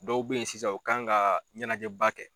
Dɔw be yen sisan u kan ka ɲɛnajɛba kɛ